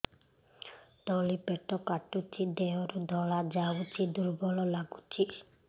ତଳି ପେଟ କାଟୁଚି ଦେହରୁ ଧଳା ଯାଉଛି ଦୁର୍ବଳ ଲାଗୁଛି